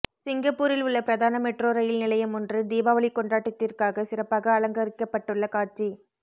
சிங்கப்பூரில் உள்ள பிரதான மெட்ரோ ரயில் நிலையமொன்று தீபாவளி கொண்டாட்டத்திற்காக சிறப்பாக அலங்கரிக்கப்பட்டுள்ள காட்சி